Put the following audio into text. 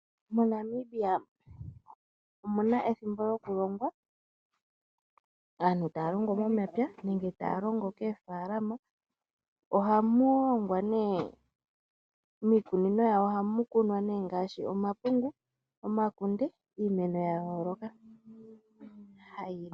MoNamibia omuna ethimbo lyokulonga aantu taya longo momapya nenge taya longo keefaalama oha mu longwa ne, miiikunino yawo ohamu kunwa ne ngashi omapungu, omakunde iimeno ya yooloka.